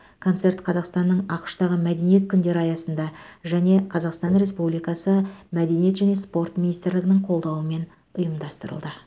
концерт қазақстанның ақш тағы мәдениет күндері аясында және қазақстан республикасы мәдениет және спорт министрлігінің қолдауымен ұйымдастырылды